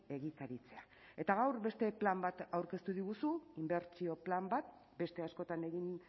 egikaritzea eta gaur beste plan bat aurkeztu diguzu inbertsio plan bat beste askotan egin